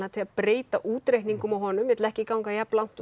breyta útreikningum á honum vill ekki ganga jafn langt og